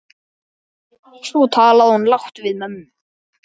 Svo talaði hún lágt við mömmu.